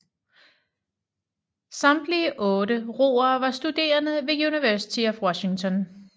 Samtlige otte roere var studerende ved University of Washington